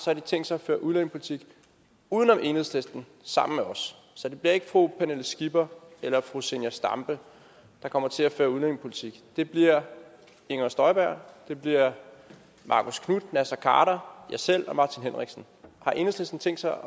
har de tænkt sig at føre udlændingepolitik uden om enhedslisten sammen med os så det bliver ikke fru pernille skipper eller fru zenia stampe der kommer til at føre udlændingepolitik det bliver inger støjberg det bliver marcus knuth naser khader jeg selv og martin henriksen har enhedslisten tænkt sig